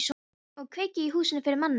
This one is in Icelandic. Á að kveikja í húsinu fyrir manni!